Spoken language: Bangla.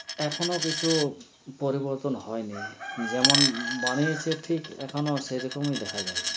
এখনো কিছু পরিবর্তন হয়নি যেমন বানিয়েছে ঠিক এখন‌ও সেরকম‌ই দেখা যায়